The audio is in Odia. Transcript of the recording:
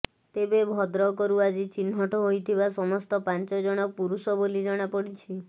ତେବେ ଭଦ୍ରକରୁ ଆଜି ଚିହ୍ନଟ ହୋଇଥିବା ସମସ୍ତ ପାଞ୍ଚଜଣ ପୁରୁଷ ବୋଲି ଜଣାପଡିଛି